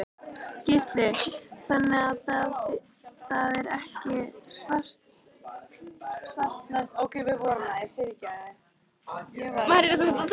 Gísli: Þannig að það er ekki svartnætti enn þá?